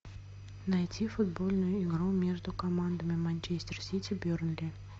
найти футбольную игру между командами манчестер сити бернли